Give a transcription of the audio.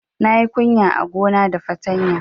Na yi kunya a gona da fatanya